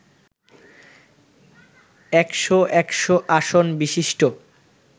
১০০ একশ আসন বিশিষ্ট